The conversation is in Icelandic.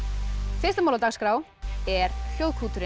fyrsta mál á dagskrá er